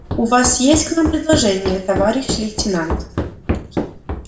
у нас есть к вам предложение товарищ лейтенант